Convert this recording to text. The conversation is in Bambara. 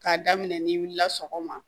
K'a daminɛ n'i wulila sɔgɔma